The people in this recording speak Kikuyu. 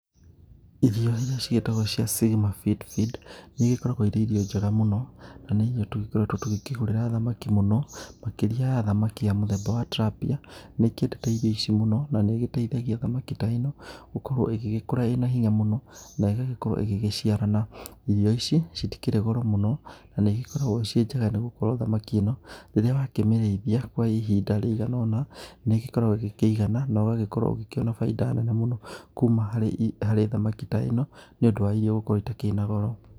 Irio ĩria cĩgĩtagwo cia Sigma Fish Feed, nĩigĩkuragwo irĩ irio njega mũno, na nĩ irio tũgĩkoretwo tũgĩkĩgũrĩra thamaki mũno makĩria thamaki ya mũthemba wa Tilapia nĩikiendete irio ici mũno na nĩ igĩteithagia thamaki ta ĩno gũkorwo igĩgĩkũra ĩna hinya mũno na ĩgagĩkorwo igĩgĩciarana. Irio ici citĩkĩrĩ goro mũno, na nĩigĩkũragwo cĩĩ njega, nĩgũkũrwo thamaki ĩno rĩrĩa wakĩmĩrĩĩthia kwa ihinda rĩigana ũna, nĩgĩkoragwo igĩkĩigana na ũgagĩkorwo ũkĩona bainda nene mũno, kũma harĩ thamaki ta ĩno nĩũndũ wa irio gũkorwo itakĩrĩ na goro.